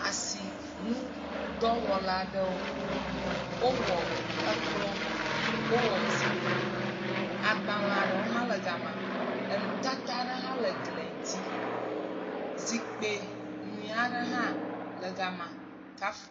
Asinudɔwɔla aɖewo. Wowɔ ekplɔ, wowɔ zikpui. Agbale aɖewo hã le game. Enu tata hãle eglia ŋuti. Zikpui nyuia ɖe hã le gama kaf..